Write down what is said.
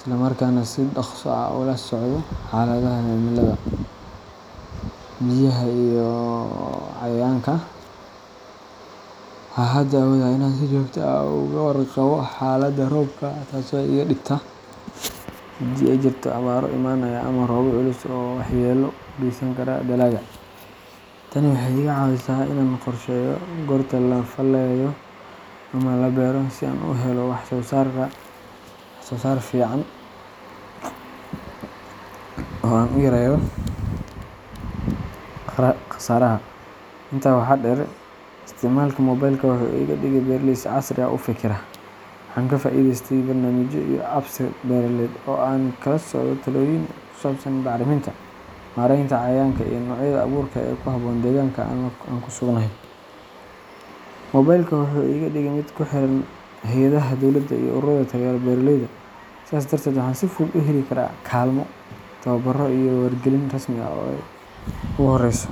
islamarkaana si dhakhso ah ula socdo xaaladaha cimilada, biyaha iyo cayayaanka. Waxaan hadda awoodaa inaan si joogto ah uga warqabo xaaladda roobka, taasoo iiga digta haddii ay jirto abaaro imanaya ama roobab culus oo waxyeello u geysan kara dalagga. Tani waxay iga caawisaa inaan qorsheeyo goorta la falayo ama la beero, si aan u helo wax-soo-saar fiican oo aan u yareeyo khasaaraha. Intaa waxaa dheer, isticmaalka moobaylka wuxuu iga dhigay beeraley si casri ah u fekera. Waxaan ka faa’iidaystay barnaamijyo iyo apps-beeraleed oo aan kala socdo talooyin ku saabsan bacriminta, maaraynta cayayaanka, iyo noocyada abuurka ee ku habboon deegaanka aan ku suganahay. Moobaylka wuxuu iga dhigay mid ku xiran hay’adaha dowladda iyo ururada taageera beeraleyda, sidaas darteed waxaan si fudud u heli karaa kaalmo, tababaro iyo wargelin rasmi ah oo ogu horeso.